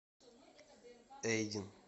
эйдин